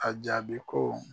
A jaabi ko.